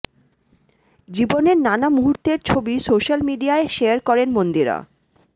জীবনের নানা মুহূর্তের ছবি সোশ্যাল মিডিয়ায় শেয়ার করেন মন্দিরা